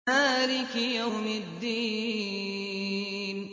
مَالِكِ يَوْمِ الدِّينِ